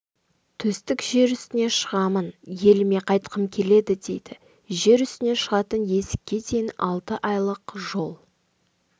төстік жер үстіне шығамын еліме қайтқым келеді дейді жер үстіне шығатын есікке дейін алты айлық жол